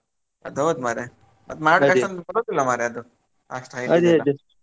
ಅದು ಹೌದ್ ಮಾರಯಾ ಅಷ್ಟು height ಎಲ್ಲಾ.